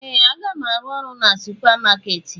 Ee! Aga m arụ ọrụ na supamakeeti.